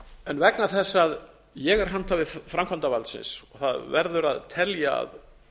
þetta vegna þess að ég er handhafi framkvæmdarvaldsins og það verður að telja að